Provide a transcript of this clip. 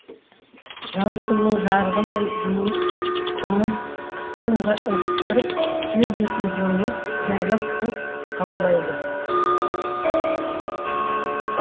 жаңа күннің жарығы мен жылуы қытымыр қысты ығыстырып жер бетін жылылық жайлап көк қаулайды